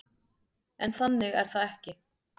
En þannig er það ekki.